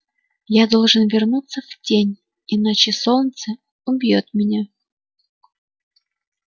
я должен вернуться в тень иначе солнце убьёт меня